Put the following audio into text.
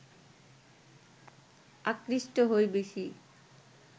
আকৃষ্ট হই বেশি